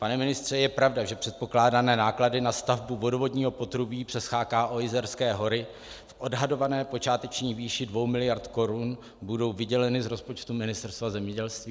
Pane ministře, je pravda, že předpokládané náklady na stavbu vodovodního potrubí přes CHKO Jizerské hory v odhadované počáteční výši dvou miliard korun budou vyděleny z rozpočtu Ministerstva zemědělství?